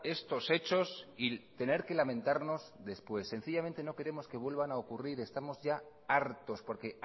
estos hechos y tener que lamentarnos después sencillamente no queremos que vuelvan a ocurrir estamos ya hartos porque